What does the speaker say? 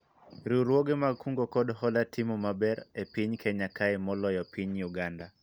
riwruoge mag kungo kod hola timo maber e piny Kenya kae moloyo piny Uganda